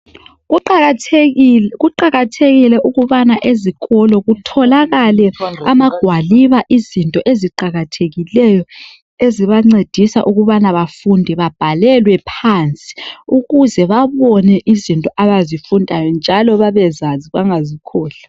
Kuqakathekile ukubana ezikolo kutholakale amagwaliba izinto eziqakathekileyo ezibancedisa ukubana bafunde babhalelwe phansi ukuze babone izinto abazifundayo njalo babezazi bangazikhohlwa.